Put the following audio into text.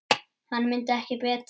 Hann mundi ekki betur!